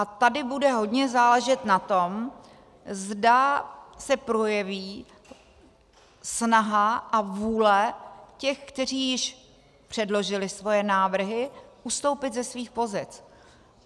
A tady bude hodně záležet na tom, zda se projeví snaha a vůle těch, kteří již předložili svoje návrhy, ustoupit ze svých pozic.